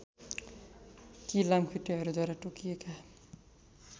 कि लामखुट्टेहरूद्वारा टोकिएका